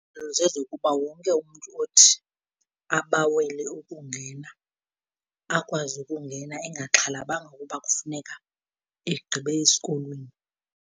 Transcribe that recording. Zezokuba wonke umntu othi abawele ukungena akwazi ukungena engaxhalabanga ukuba kufuneka egqibe esikolweni.